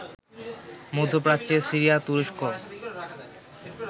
মধ্যপ্রাচ্যের সিরিয়া, তুরস্ক